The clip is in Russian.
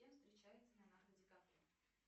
с кем встречается леонардо ди каприо